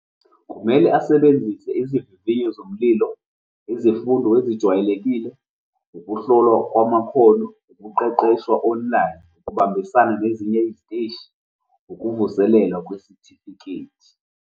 Kumele asebenzise izivivinyo zomlilo, izimfundo ezijwayelekile, ukuhlolwa kwamakhono, ukuqeqeshwa online, ukubambisana nezinye iziteshi, ukuvuselela kwesitifiketi.